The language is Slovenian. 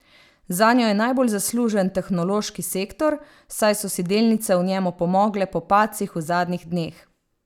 Zanjo je najbolj zaslužen tehnološki sektor, saj so si delnice v njem opomogle po padcih v zadnjih dneh.